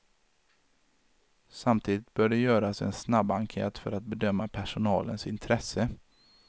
Samtidigt bör det göras en snabbenkät för att bedöma personalens intresse.